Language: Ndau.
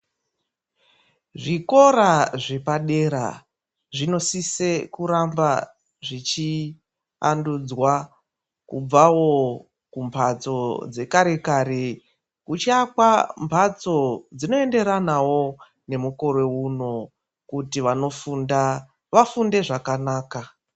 Zvikora zvepadera zvinosise kuramba zvichiandudzwa kubvawo kumbatso dzekare kare dzichiakwa mvatso dzinoenderanawo nemukore uno kuti vanofunda vafunde zvakanaka.